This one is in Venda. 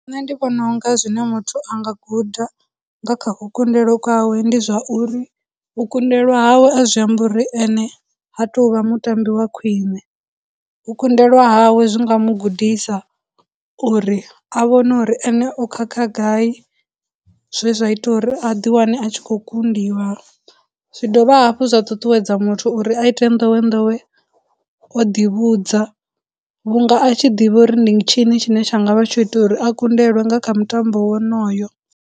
Nṋe ndi vhona unga zwine muthu anga guda nga kha u kundelwe kwawe ndi zwa uri, u kundelwa hawe a zwi ambi uri ene ha tou vha mutambi wa khwiṋe, u kundelwa hawe zwi nga mu gudisa uri a vhone uri ene o khakha gai zwe zwa ita uri a ḓi wane a tshi khou kundiwa, zwi dovha hafhu zwa ṱuṱuwedza muthu uri a ite ndowendowe o ḓi vhudza vhunga a tshi ḓivha uri ndi tshini tshine tsha nga vha tsho ita uri a kundelwe nga kha mutambo wonoyo.